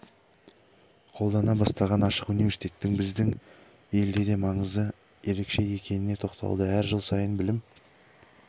қолдана бастаған ашық университеттің біздің елде де маңызы ерекше екеніне тоқталды әр жыл сайын білім